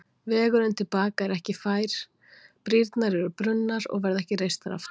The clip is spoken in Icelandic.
Vegurinn til baka er ekki fær, brýrnar eru brunnar og verða ekki reistar aftur.